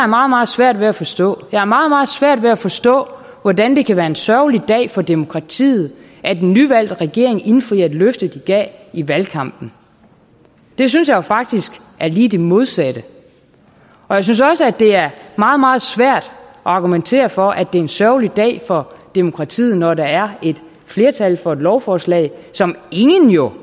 meget meget svært ved at forstå jeg har meget meget svært ved at forstå hvordan det kan være en sørgelig dag for demokratiet at en nyvalgt regering indfrier et løfte de gav i valgkampen det synes jeg faktisk er lige det modsatte og jeg synes også at det er meget meget svært at argumentere for at det er en sørgelig dag for demokratiet når der er et flertal for et lovforslag som ingen jo